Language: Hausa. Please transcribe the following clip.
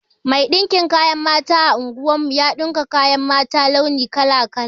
Mai ɗinkin kaya a unguwar mu ya ɗinka kayan mata launi kala-kala.